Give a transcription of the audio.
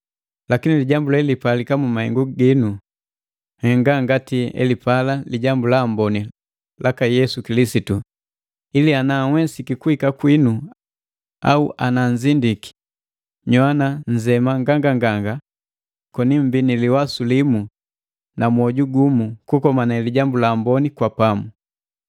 Lakini lijambu lelipalika mu mahengu ginu, nhenga ngati elipala Lijambu la Amboni laka Yesu Kilisitu, ili ana nhwesiki kuhika kwinu au nanzindiki, nyoana nzema nganganganga koni mmbii ni liwasu limu na mwoju gumu kukomane Lijambu la Amboni kwa pamu.